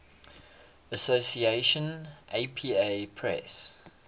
association apa press